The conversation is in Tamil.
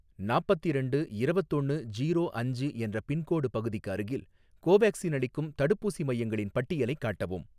நாப்பத்திரெண்டு இரவத்தொன்னு ஜீரோ அஞ்சு என்ற பின்கோடு பகுதிக்கு அருகில், கோவேக்சின் அளிக்கும் தடுப்பூசி மையங்களின் பட்டியலைக் காட்டவும்